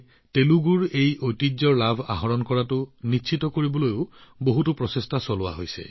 তেলেগুৰ এই ঐতিহ্যৰ সুফল যাতে সমগ্ৰ দেশে লাভ কৰে তাৰ বাবেও বহু প্ৰচেষ্টা চলোৱা হৈছে